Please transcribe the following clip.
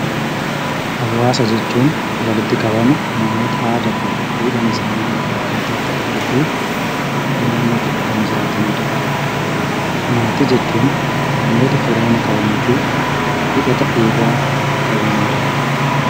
Hawaasa jechuun walitti qabama namoota aadaan isaanifi duudhaan isaani wal fakkaataa ta'eefi naannoo tokko kan jiraataniidha. Maatii jechuun namoota firooma qabanifi hidhataa dhiigaa qabanidha.